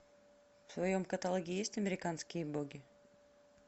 в твоем каталоге есть американские боги